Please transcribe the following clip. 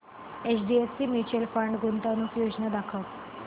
HDFC mutual fund गुंतवणूक योजना दाखव